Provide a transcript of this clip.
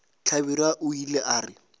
hlabirwa o ile a re